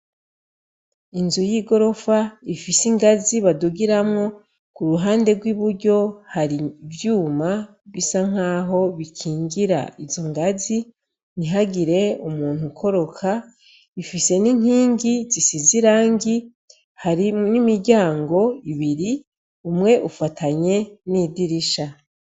Inzu y'igorofa ifise ingazi badugiramwo ku ruhande rw'iburyo hari ivyuma bisa nk'aho bikingira izo ngazi ntihagire umuntu ukoroka ifise n'inkingi zisize irangi hari n'imiryango ibiri umwe ufatanye n'idirisha.